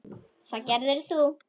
Það gerðir þú.